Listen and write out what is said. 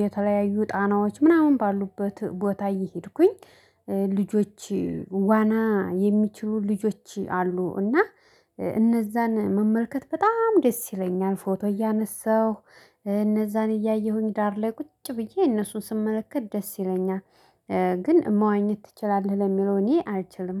የተለያዩ ጣናዎች ምናምን ባሉበት ቦታ እየሄድኩኝ። ልጆች ዋና የሚችሉ ልጆች አሉ። እና እነዛን መመልከት በጣም ደስ ይለኛል ፎቶ እያነሳሁ እነዛን እያየሁኝ ዳር ላይ ቁጭ ብዬ እነሱን ስመለከት ደስ ይለኛል። ግን መዋኘት ትችላለህ ለሚለው እኔ አልችልም